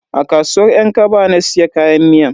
A kasuwar yan kaba na siya kayan miyan.